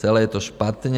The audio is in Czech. Celé je to špatně.